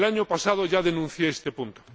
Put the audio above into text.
El año pasado ya denuncié este punto.